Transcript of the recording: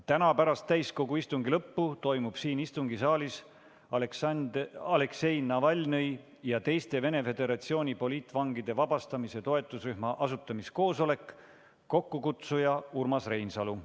Täna pärast täiskogu istungi lõppu toimub siin istungisaalis Aleksei Navalnõi ja teiste Vene Föderatsiooni poliitvangide vabastamise toetusrühma asutamiskoosolek, kokkukutsuja on Urmas Reinsalu.